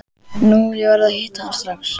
Nei, ég verð að hitta hann strax.